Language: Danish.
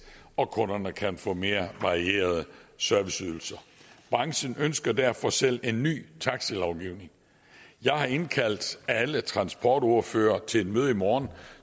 og kunderne kan få mere varierede serviceydelser branchen ønsker derfor selv en ny taxalovgivning jeg har indkaldt alle transportordførere til et møde i morgen